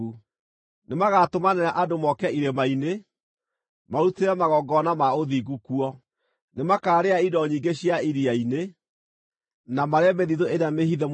Nĩmagatũmanĩra andũ moke irĩma-inĩ marutĩre magongona ma ũthingu kuo; nĩmakaarĩa indo nyingĩ cia iria-inĩ, na marĩe mĩthithũ ĩrĩa mĩhithe mũthanga-inĩ.”